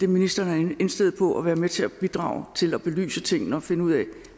ministeren er indstillet på at være med til at bidrage til at belyse tingene og finde ud af